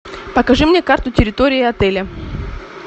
покажи мне карту территории отеля